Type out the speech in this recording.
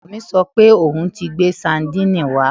Ọkọ mi sọ pé òun ti gbé sadínìnnì wá